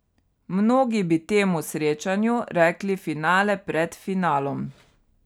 Mnogi bi temu srečanju rekli finale pred finalom.